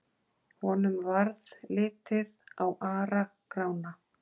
Honum varð litið á Ara-Grána.